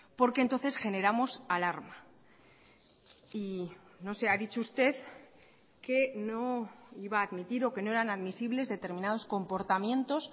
porque entonces generamos alarma y no sé ha dicho usted que no iba a admitir o que no eran admisibles determinados comportamientos